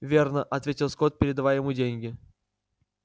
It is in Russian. верно ответил скотт передавая ему деньги